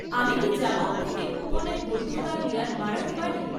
আমি কি জাবং থেকে কুপনের বৈধতার মেয়াদ বাড়াতে পারি?